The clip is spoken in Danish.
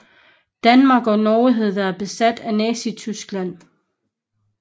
Danmark og Norge havde været besatte af Nazityskland